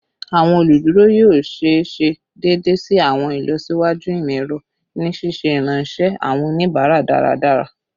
Awọn oluduro yoo ṣee ṣe deede si awọn ilọsiwaju imọ-ẹrọ ni ṣiṣe iranṣẹ awọn onibara daradara